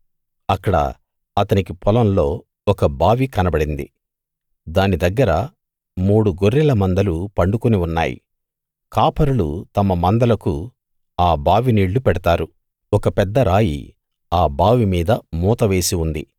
అక్కడ అతనికి పొలంలో ఒక బావి కనబడింది దాని దగ్గర మూడు గొర్రెల మందలు పండుకుని ఉన్నాయి కాపరులు తమ మందలకు ఆ బావి నీళ్ళు పెడతారు ఒక పెద్ద రాయి ఆ బావి మీద మూత వేసి ఉంది